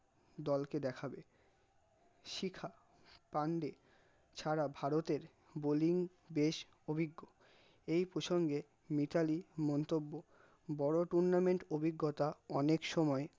দলকে দেখাবে শিখা পান্ডে ছাড়া ভারতের bowling বেশ অভিজ্ঞ, এই প্রসঙ্গে মিতালি মন্তব্য, বড়ো tournament অভিজ্ঞতা অনেক সময়